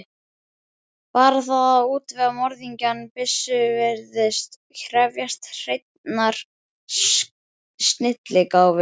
Bara það að útvega morðingjanum byssu virðist krefjast hreinnar snilligáfu.